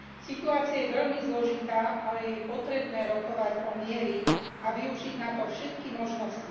Situácia je veľmi zložitá, ale je potrebné rokovať o mieri a využiť na to všetky možnosti.